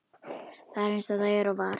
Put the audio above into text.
Það er eins og það er og var.